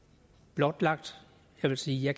blotlagt jeg vil sige at